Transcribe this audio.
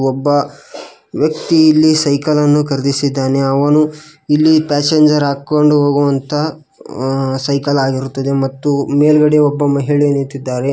ಒಬ್ಬ ವ್ಯಕ್ತಿ ಇಲ್ಲಿ ಸೈಕಲ್ ನ್ನು ಖರೀದಿಸಿದ್ದಾನೆ ಅವನು ಇಲ್ಲಿ ಪ್ಯಾಸೆಂಜರ್ ಹಾಕೊಂಡ ಹೋಗುವಂತ ಅ ಸೈಕಲ್ ಆಗಿರುತ್ತದೆ ಮತ್ತು ಮೇಲ್ಗಡೆ ಒಬ್ಬ ಮಹಿಳೆ ನಿಂತಿದ್ದಾರೆ.